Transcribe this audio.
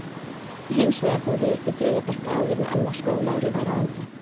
Hins vegar fór ég upp í þriðja bekk áður en annað skólaárið var á enda.